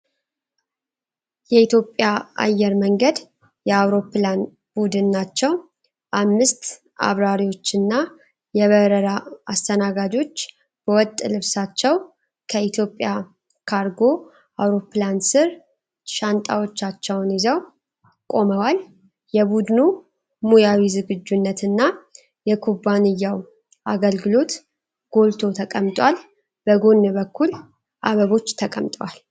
የኢትዮጵያ አየር መንገድ የአውሮፕላን ቡድን ናቸው ። አምስት አብራሪዎችና የበረራ አስተናጋጆች በወጥ ልብሳቸው ከኤትዮጵያ ካርጎ አውሮፕላን ስር ሻንጣዎቻቸውን ይዘው ቆመዋል። የቡድኑ ሙያዊ ዝግጁነት እና የኩባንያው አገልግሎት ጎልቶ ተቀምጧል ። በጎን በኩል አበቦች ተቀምጧል ።